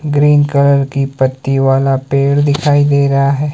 Green colour की पत्ती वाला पेड़ दिखाई दे रहा है।